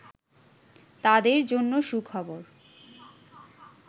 তাদের জন্য সুখবর